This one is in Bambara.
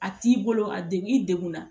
A t'i bolo a degun i degun na